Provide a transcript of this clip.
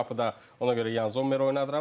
Mənim qapıda ona görə Yan Zommer oynadıram.